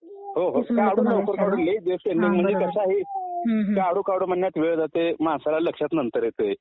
*Audio is not clear काढू काढू म्हणण्यात वेळ जातंय माणसाला लक्षात नंतर येतंय